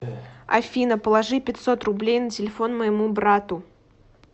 афина положи пятьсот рублей на телефон моему брату